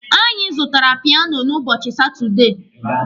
Anyị zụtara piano n'ubochi Satudee.